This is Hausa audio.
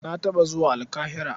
Na taɓa zuwa Alƙahira.